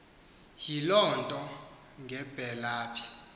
iyiloo nto ngebelaph